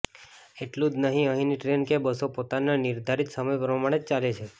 એટલું જ નહીં અહીંની ટ્રેન કે બસો પોતાના નિર્ધારિત સમય પ્રમાણે જ ચાલે છે